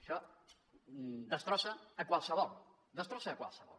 això destrossa a qualsevol destrossa a qualsevol